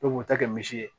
E b'o ta kɛ misi ye